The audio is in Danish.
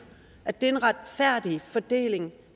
at det er en retfærdig fordeling